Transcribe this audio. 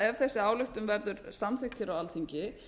ef þessi ályktun verður samþykkt á alþingi